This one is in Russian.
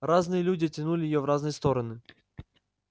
разные люди тянули её в разные стороны